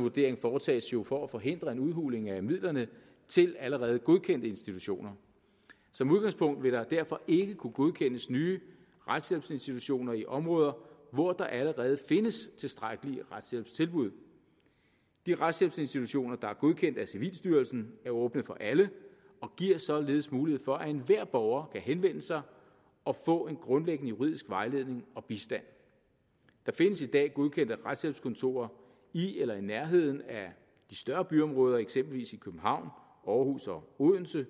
vurderingen foretages jo for at forhindre en udhuling af midlerne til allerede godkendte institutioner som udgangspunkt vil der derfor ikke kunne godkendes nye retshjælpsinstitutioner i områder hvor der allerede findes tilstrækkelige retshjælpstilbud de retshjælpsinstitutioner der er godkendt af civilstyrelsen er åbne for alle og giver således mulighed for at enhver borger kan henvende sig og få en grundlæggende juridisk vejledning og bistand der findes i dag godkendte retshjælpskontorer i eller i nærheden af de større byområder eksempelvis i københavn aarhus og odense